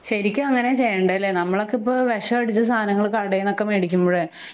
ശരിക്കും അങ്ങനെ ചെയ്യേണ്ടല്ലെ നമ്മൾളെക്കിപ്പം വിഷം അടിച്ച സാധനങ്ങൾ കടെന്നൊക്കെ മേടിക്കുമ്പഴെ